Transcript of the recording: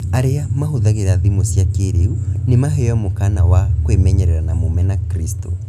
Arĩa mahũthagĩra thimũ cia kĩĩrĩu nĩ maheo mũkaana wa kwĩmenyerera na Mũmena-Kristo